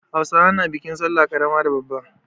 Hausawa na bikin sallah ƙarama da babba.